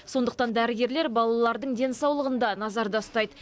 сондықтан дәрігерлер балалардың денсаулығын да назарда ұстайды